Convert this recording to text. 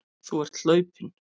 Þú ert hlaupinn.